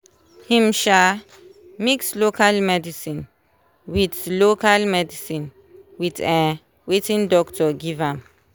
him um mix local medicine with local medicine with um watin doctor give am